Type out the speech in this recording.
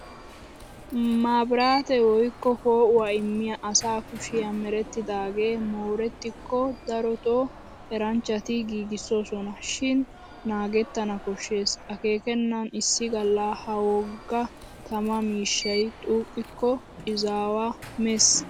Maabraatee woykko poo'uwaa immiya asa kushiya merettidaagee moorettikko darotoo eranchchati giigissoosona. Shin naagettana koshshes akeekkenna issi galla ha wogga tamaa mishshay xuuqqikko izaawaa mes.